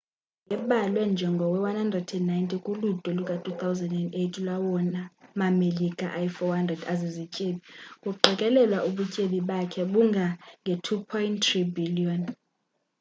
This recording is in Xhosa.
ubatten wayebalwe njengowe-190 kuludwe luka-2008 lwawona ma-melika ayi-400 azizityebi, kuqikelelwa ubutyebi bakhe bungange-$2.3 bhiliyoni